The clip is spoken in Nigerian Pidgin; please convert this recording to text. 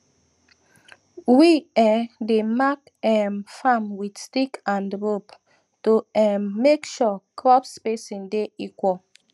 we um dey mark um farm with stick and rope to um make sure crop spacing de equal